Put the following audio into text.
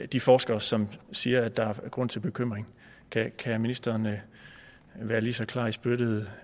de forskere som siger at der er grund til bekymring kan ministeren være lige så klar i spyttet